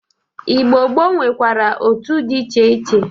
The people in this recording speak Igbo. Igbo gboo nwekwara otu dị iche iche.